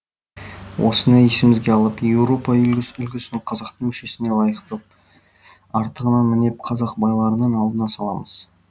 осыны есімізге алып еуропа үлгісін қазақтың мүшесіне лайықтап артығын мінеп қазақ байларының алдына саламыз